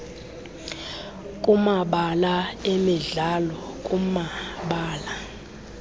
kumabala emidlalo kumabala